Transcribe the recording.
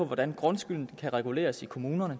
hvordan grundskylden kan reguleres i kommunerne